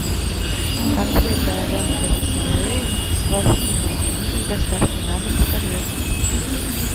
конфеты аленка весовые с вафельной начинкой с доставкой на дом в тольятти